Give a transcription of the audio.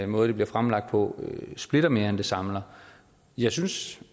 måde det bliver fremlagt på splitter mere end den samler jeg synes